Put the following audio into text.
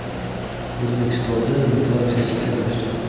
O‘zbekistonda inflyatsiya sekinlashdi.